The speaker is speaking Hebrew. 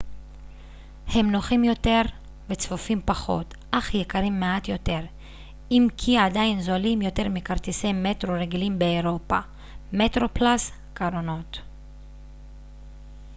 קרונות metroplus הם נוחים יותר וצפופים פחות אך יקרים מעט יותר אם כי עדיין זולים יותר מכרטיסי מטרו רגילים באירופה